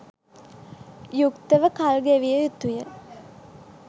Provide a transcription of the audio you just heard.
යුක්තව කල් ගෙවිය යුතුය.